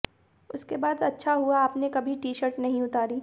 उसके बाद अच्छा हुआ आपने कभी टी शर्ट नहीं उतारी